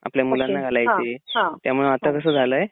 आपल्या मुलांना घालायचे त्यामुळे आत्ता कसं झालंय